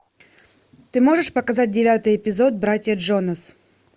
ты можешь показать девятый эпизод братья джонас